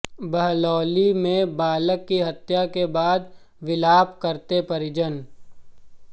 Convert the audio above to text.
बहलौली में बालक की हत्या के बाद विलाप करते परिजन